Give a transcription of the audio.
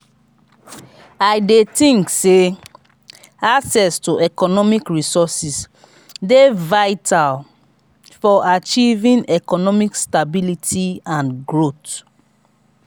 i dey think say access to economic resources dey vital for achieving economic stability and growth.